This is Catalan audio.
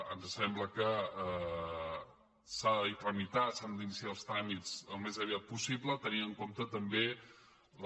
ens sembla que s’ha de trami·tar s’han d’iniciar els tràmits al més aviat possible te·nint en compte també la